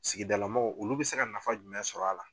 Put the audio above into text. Sigidalamaaw olu bɛ se ka nafa jumɛn sɔr'a la?